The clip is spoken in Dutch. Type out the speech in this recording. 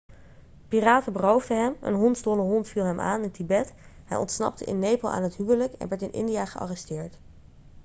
piraten beroofden hem een hondsdolle hond viel hem aan in tibet hij ontsnapte in nepal aan het huwelijk en werd in india gearresteerd